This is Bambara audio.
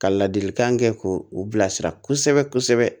Ka ladilikan kɛ k'u bilasira kosɛbɛ kosɛbɛ